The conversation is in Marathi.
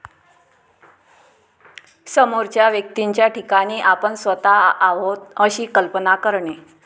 समोरच्या व्यक्तींच्या ठिकाणी आपण स्वतः आहोत अशी कल्पना करणे.